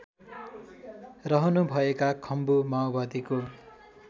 रहनुभएका खम्बु माओवादीको